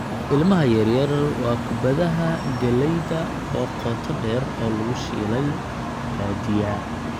Ilmaha yar yar waa kubbadaha galleyda oo qoto dheer oo lagu shiilay badiyaa.